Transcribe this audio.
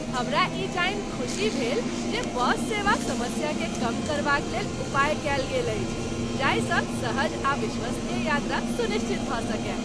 हमरा ई जानि खुशी भेल जे बस सेवा समस्याकेँ कम करबाक लेल उपाय कयल गेल अछि, जाहि सँ सहज आ विश्वसनीय यात्रा सुनिश्चित भऽ सकय।